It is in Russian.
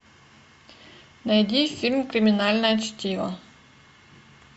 найди фильм криминальное чтиво